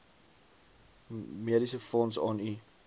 mediesefonds aan u